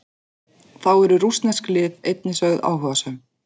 Þá eru rússnesk lið einnig sögð áhugasöm.